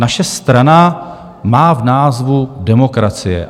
Naše strana má v názvu "demokracie".